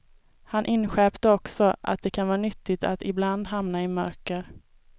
Han inskärpte också, att det kan vara nyttigt att ibland hamna i mörker.